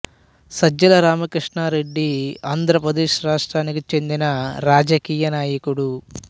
సజ్జల రామకృష్ణా రెడ్డి ఆంద్రప్రదేశ్ రాష్ట్రానికి చెందిన రాజకీయ నాయకుడు